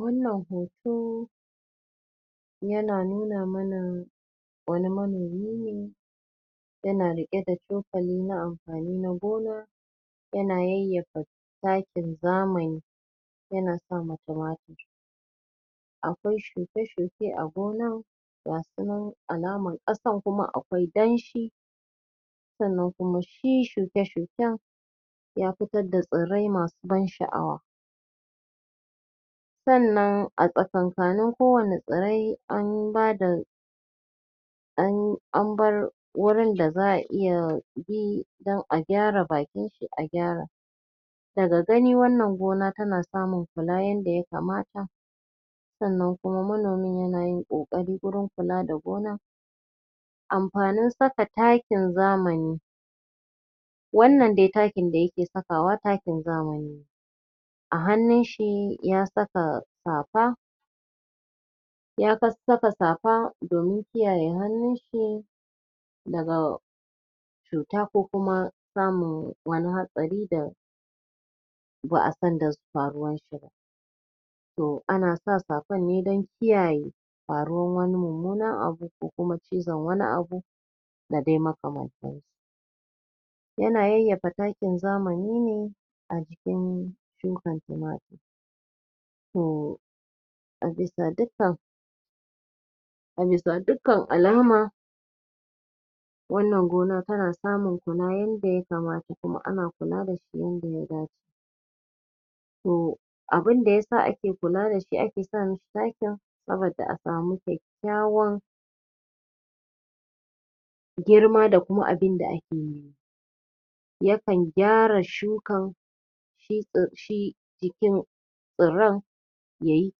Wannan hoto yana nuna mana ne wani manomi ne yana riƙe da cokali na amfani na gona yana yayyafa takin zamani yana sa ma tumatur akwai shuke -shuke a gurin gasu nan alaman ƙasan kuma akwai danshi sannan kuma shi shuke-shuken ya fitar da tsirrai masu ban sha'awa sannan a tsakakkanin kowanne tsirai an bada an abbar wurin da za a iya bi don a gyara bakin shi a gyara daga gani wannan gona tana samun kula yadda ya kamata sannan kuma manomin yana yin ƙoƙari wurin kula da gonar amfanin saka takin zamani wannan dai da yake sakawa takin zamani ne a hannun shi ya saka safa ya sassaka safa domin kiyaye hannun shi daga cuta ko kuma samun wani hatsari da ba a san da faruwar shi ba to ana sa safar ne dan kiyaye faruwar wani mummunan abu ko kuma cizon wani abu da dai makamantansu yana yayyafa takin zamani ne a jikin shukan tumatur to a bisa dikkan a bisa dikkan alama wannan gona tana samun kula yadda ya kamata kuma ana kula dasu yadda ya dace to abunda yasa ake kula dasu ake sa musu takin saboda a samu kyakkyawan girma da kuma abunda ake nema yakan gyara shuka abun ya yi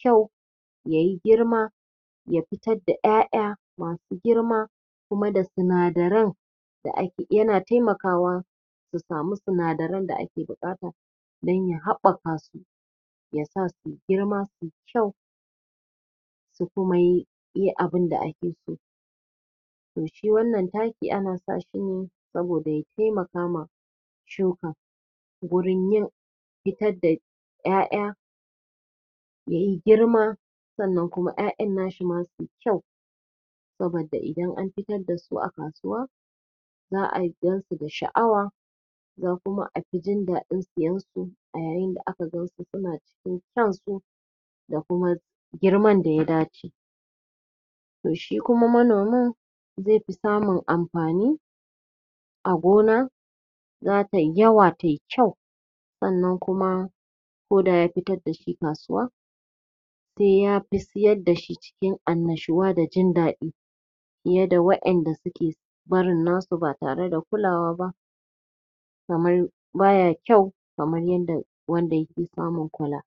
kyau ya yi girma ya fitar da ƴaƴa masu girma kuma da sinadaran da ake kuma yana taimakawa su sami sinadaran da ake buƙata dan ya haɓɓaka su ya sa su girma su kyau su kuma yi yi abunda ake so to shi wannan taki ana sa shi ne saboda ya taimaka ma shuka gurin yin fitar da ƴaƴa yayi girma sannan kuma ƴaƴan nashi ma su kyau saboda idan an fitar dasu a kasuwa za a gansu da sha'awa ko kuma a fi jin daɗin siyan su a ya yin da aka gansu suna cikin kyansu da kuma girman da ya dace to shi kuma manomin zai fi samun amfani a gona za tai yawa tai kyau sannan kuma koda ya fitar dashi kasuwa sai yafi siyar dashi cikin annashuwa da jin daɗi fiye da waƴanda suke barin nasu ba tare da kulawa ba kaman baya kyau kamar yanda wanda yake samun kula